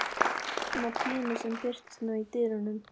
spyr mamma Pínu sem birtist nú í dyrunum.